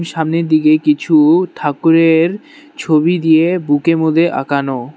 সামনের দিগে কিছু ঠাকুরের ছবি দিয়ে বুক এ মধ্যে আঁকানো।